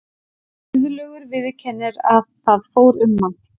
Guðlaugur viðurkennir að það fór um hann.